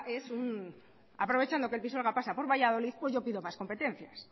aprovechando que el pisuerga pasa por valladolid pues yo pido más competencias